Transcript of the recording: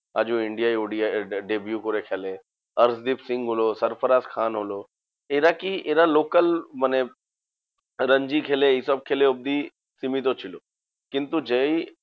আজ ও India য় ODI deview করে খেলে, অর্শদীপ সিং বলো, সরফরাজ খান হলো। এরা কি? এরা local মানে রঞ্জি খেলে এইসব খেলে অব্দি সীমিত ছিল। কিন্তু যেই